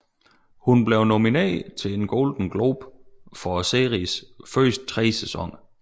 Hun blev nomineret til en Golden Globe for seriens første tre sæsoner